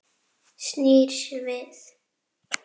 Snýr sér við.